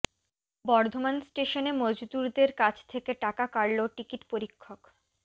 বর্ধমান স্টেশনে মজদুরদের কাছ থেকে টাকা কাড়ল টিকিট পরীক্ষক